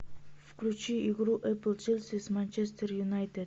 включи игру апл челси с манчестер юнайтед